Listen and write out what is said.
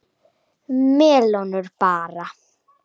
Melónur bara!